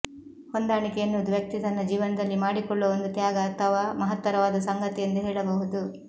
ಹೊಂದಾಣಿಕೆ ಎನ್ನುವುದು ವ್ಯಕ್ತಿ ತನ್ನ ಜೀವನದಲ್ಲಿ ಮಾಡಿಕೊಳ್ಳುವ ಒಂದು ತ್ಯಾಗ ಅಥವಾ ಮಹತ್ತರವಾದ ಸಂಗತಿ ಎಂದು ಹೇಳಬಹುದು